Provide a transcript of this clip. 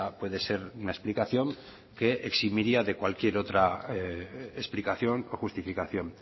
puede ser una explicación que eximiría de cualquier otra explicación o justificación